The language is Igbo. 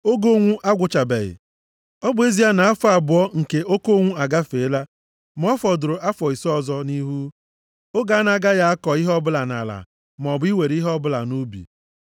Oge ụnwụ agwụchabeghị. Ọ bụ ezie na afọ abụọ nke oke ụnwụ agafeela, ma ọ fọdụrụ afọ ise ọzọ nʼihu, oge a na-agaghị akọ ihe ọbụla nʼala, maọbụ iwere ihe ọbụla nʼubi.